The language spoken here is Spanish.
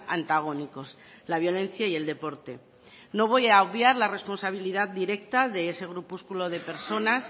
antagónicos la violencia y el deporte no voy a obviar la responsabilidad directa de ese grupúsculo de personas